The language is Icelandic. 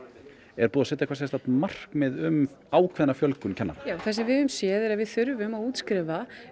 er búið að setja eitthvert markmið um ákveðna fjölgun kennaranema já það sem við höfum séð er að við þurfum að útskrifa